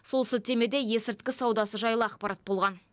сол сілтемеде есірткі саудасы жайлы ақпарат болған